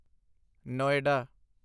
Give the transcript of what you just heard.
Noida